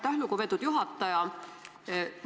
Aitäh, lugupeetud juhataja!